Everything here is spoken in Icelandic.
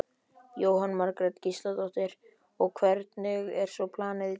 Jóhanna Margrét Gísladóttir: Og hvernig er svo planið í dag?